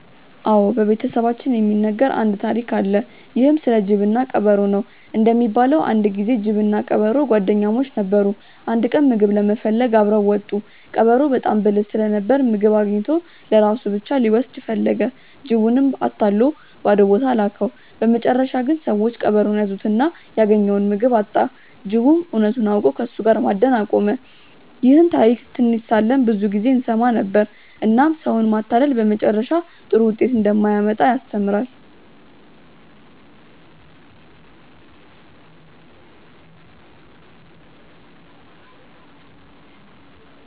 አዎ፣ በቤተሰባችን ውስጥ የሚነገር አንድ ታሪክ አለ። ይህም ስለ ጅብና ቀበሮ ነው። እንደሚባለው አንድ ጊዜ ጅብና ቀበሮ ጓደኛሞች ነበሩ። አንድ ቀን ምግብ ለመፈለግ አብረው ወጡ። ቀበሮው በጣም ብልህ ስለነበር ምግብ አግኝቶ ለራሱ ብቻ ሊወስድ ፈለገ። ጅቡንም አታሎ ባዶ ቦታ ላከው። በመጨረሻ ግን ሰዎች ቀበሮውን ያዙትና ያገኘውን ምግብ አጣ። ጅቡም እውነቱን አውቆ ከእሱ ጋር መጓደን አቆመ። ይህን ታሪክ ትንሽ ሳለን ብዙ ጊዜ እንሰማ ነበር፣ እናም ሰውን ማታለል በመጨረሻ ጥሩ ውጤት እንደማያመጣ ያስተምራል።